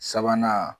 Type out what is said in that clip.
Sabanan